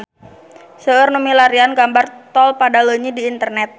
Seueur nu milarian gambar Tol Padaleunyi di internet